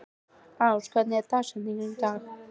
Ás, hver er dagsetningin í dag?